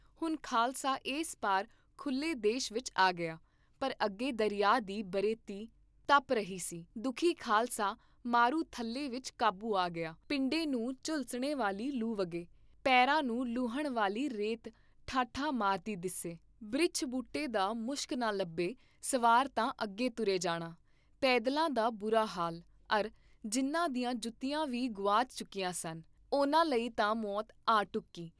ਹੁਣ ਖਾਲਸਾ ਇਸ ਪਾਰ ਖੁੱਲ੍ਹੇ ਦੇਸ਼ ਵਿਚ ਆ ਗਿਆ, ਪਰ ਅੱਗੇ ਦਰਿਆ ਦੀ ਬਰੇਤੀ ਤਪ ਰਹੀ ਸੀ, ਦੁਖੀ ਖਾਲਸਾ ਮਾਰੂ ਥੱਲੇ ਵਿਚ ਕਾਬੂ ਆ ਗਿਆ, ਪਿੰਡੇ ਨੂੰ ਝੁਲਸਣੇ ਵਾਲੀ ਲੂ ਵਗੇ, ਪੇਰਾਂ ਨੂੰ ਲੂਹਣ ਵਾਲੀ ਰੇਤ ਠਾਠਾਂ ਮਾਰਦੀ ਦਿੱਸੇ, ਬ੍ਰਿਛ ਬੂਟੇ ਦਾ ਮੁਸ਼ਕ ਨਾ ਲੱਭੇ ਸਵਾਰ ਤਾਂ ਅਗੇ ਤੁਰੇ ਜਾਣ, ਪੈਦਲਾਂ ਦਾ ਬੁਰਾ ਹਾਲ ਅਰ ਜਿਨ੍ਹਾਂ ਦੀਆਂ ਜੁੱਤੀਆਂ ਵੀ ਗੁਆਚ ਚੁਕੀਆਂ ਸਨ, ਉਹਨਾਂ ਲਈ ਤਾਂ ਮੌਤ ਆ ਢੁੱਕੀ